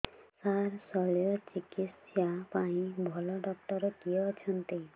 ସାର ଶଲ୍ୟଚିକିତ୍ସା ପାଇଁ ଭଲ ଡକ୍ଟର କିଏ ଅଛନ୍ତି